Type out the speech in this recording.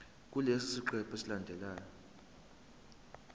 kulesi siqephu esilandelayo